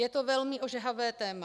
Je to velmi ožehavé téma.